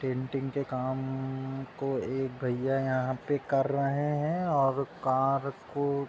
painting के काम को यहाँ पर एक भैया कर रहे हैं और कार कों --